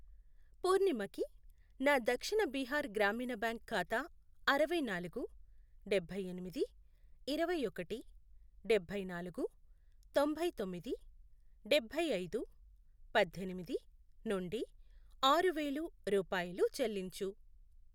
పూర్ణిమకి నా దక్షిణ బీహార్ గ్రామీణ బ్యాంక్ ఖాతా అరవై నాలుగు, డబ్బై ఎనిమిది, ఇరవై ఒకటి, డబ్బై నాలుగు, తొంభయి తొమ్మిది, డబ్బై ఐదు, పద్దెనిమిది, నుండి ఆరు వేలు రూపాయలు చెల్లించు.